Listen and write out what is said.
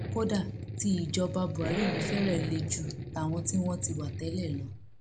kódà tí ìjọba buhari yìí fẹrẹ le ju tàwọn tí wọn ti wà tẹlẹ lọ